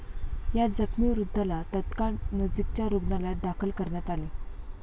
या जखमी वृद्धाला तत्काळ नजीकच्या रुग्णालयात दाखल करण्यात आले.